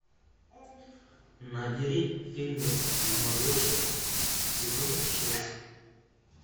набери фильмец молодежка сезон шесть